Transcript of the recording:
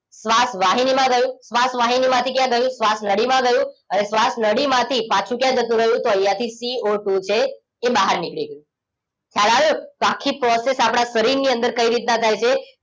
શ્વાસ વાહિની માં ગયું શ્વાસ વાહિની માંથી ક્યાં ગયું શ્વાસ નળીમાં ગયું હવે શ્વાસ નળીમાંથી પાછુ ક્યાં જતું રહ્યું તો અહિયાં થી CO ટુ છે એ બહાર નીકળી ગયું ખ્યાલ આવ્યો આખી પ્રોસેસ આપણા શરીર ની અંદર કઈ રીતના થાય છે